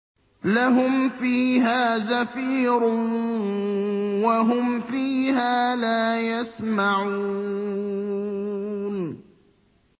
لَهُمْ فِيهَا زَفِيرٌ وَهُمْ فِيهَا لَا يَسْمَعُونَ